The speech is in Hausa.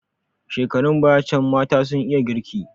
Shekarun baya can mata sun iya girki.